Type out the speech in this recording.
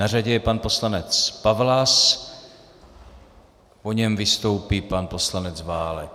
Na řadě je pan poslanec Pawlas, po něm vystoupí pan poslanec Válek.